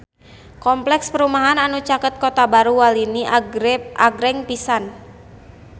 Kompleks perumahan anu caket Kota Baru Walini agreng pisan